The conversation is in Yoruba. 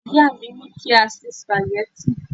ìyá mi ni ki a se spaghetti